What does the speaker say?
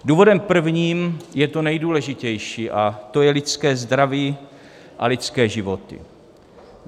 Důvodem prvním je to nejdůležitější, a to je lidské zdraví a lidské životy.